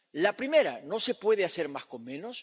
La primera, no se puede hacer más con menos.